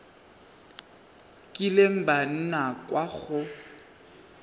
kileng ba nna kwa go